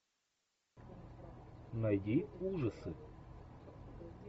найди ужасы